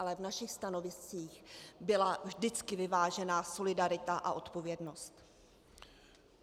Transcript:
Ale v našich stanoviscích byla vždycky vyvážená solidarita a odpovědnost.